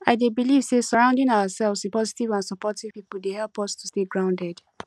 i dey believe say surrounding ourselves with positive and supportive people dey help us to stay grounded